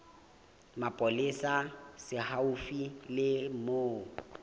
mapolesa se haufi le moo